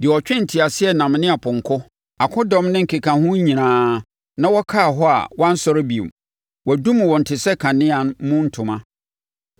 deɛ ɔtwee nteaseɛnam ne apɔnkɔ, akodɔm ne ne nkekahoɔ nyinaa, na wɔkaa hɔ a wɔansɔre bio; wɔadum wɔn te sɛ kanea mu ntoma: